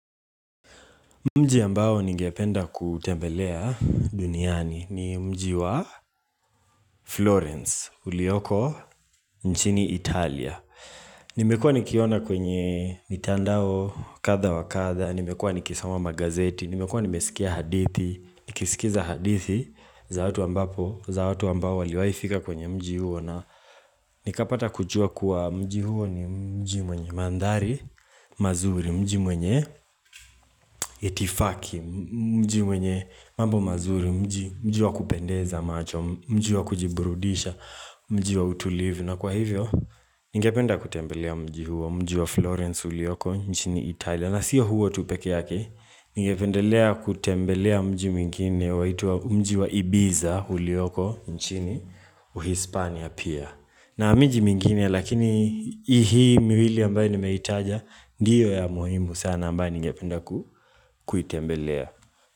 Mji ambao ningependa kuutembelea duniani ni mji wa Florence, ulioko nchini Italia. Nimekuwa nikiona kwenye mitandao kadha wa kadha, nimekuwa nikisoma magazeti, nimekuwa nimesikia hadithi. Nikisikiza hadithi za watu ambapo, za watu ambao waliwahi fika kwenye mji huo na nikapata kujua kuwa mji huo ni mji mwenye mandhari mazuri. Mji mwenye itifaki, mji mwenye mambo mazuri, mji wa kupendeza macho, mji wa kujiburudisha, mji wa utulivu. Na kwa hivyo, ningependa kutembelea mji huo. Mji wa Florence ulioko nchini Italia. Na sio huo tu pekee yake. Ningependelea kutembelea mji mwingine waitwa mji wa Ibiza ulioko nchini Uhispania pia. Na miji mingine lakini hii miwili ambayo nimeitaja ndiyo ya muhimu sana ambayo ningependa kuitembelea.